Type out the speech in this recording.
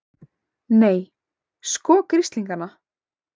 Nei, sko grislingana!